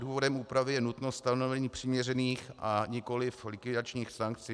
Důvodem úpravy je nutnost stanovení přiměřených, a nikoliv likvidačních sankcí.